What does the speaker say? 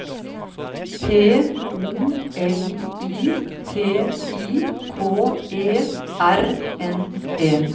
P O L I T I K E R N E